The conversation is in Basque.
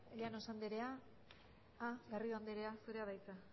llanos anderea garrido anderea zurea da hitza